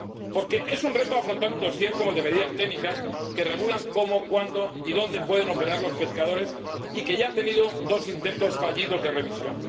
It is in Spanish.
Porque es un reto afrontar un dosier como el de las medidas técnicas que regulan cómo, cuándo y dónde pueden operar los pescadores y que ya ha tenido dos intentos fallidos de revisión.